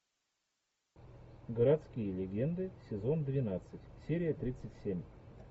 городские легенды сезон двенадцать серия тридцать семь